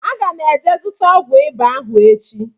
Aga m eje zụta ọgwụ ịba ahụ echi